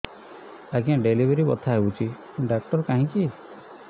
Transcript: ଆଜ୍ଞା ଡେଲିଭରି ବଥା ହଉଚି ଡାକ୍ତର କାହିଁ କି